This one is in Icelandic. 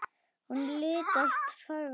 Hún litast forviða um.